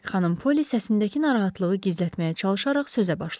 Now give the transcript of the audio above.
Xanım Poli səsindəki narahatlığı gizlətməyə çalışaraq sözə başladı.